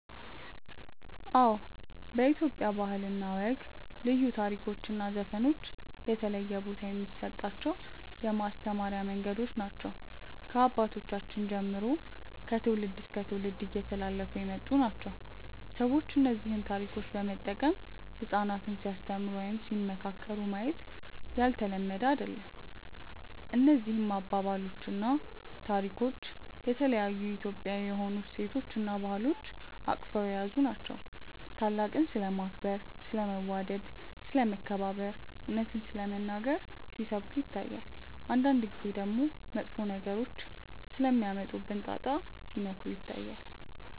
አዎ በኢትዮጵያ ባህል እና ወግ ልዩ ታሪኮች እና ዘፈኖች የተለየ ቦታ የሚሰጣቸው የማስተማሪያ መንገዶች ናቸው። ከአባቶቻችን ጀምሮ ከትውልድ እስከ ትውልድ እየተላለፉ የመጡ ናቸው። ሰዎች እነዚህን ታሪኮች በመጠቀም ህጻናትን ሲያስተምሩ ወይም ሲመካከሩ ማየት ያልተለመደ አይደለም። እነዚህ አባባሎች እና ታሪኮች የተለያዩ የኢትዮጵያዊ የሆኑ እሴቶችን እና ባህሎችን አቅፈው የያዙ ናቸው። ታላቅን ስለማክበር፣ ስለ መዋደድ፣ ስለ መከባበር፣ እውነትን ስለመናገር ሲሰብኩ ይታያል። አንዳንድ ጊዜ ደግሞ መጥፎ ነገሮች ስለሚያመጡብን ጣጣ ሲመክሩ ይታያሉ።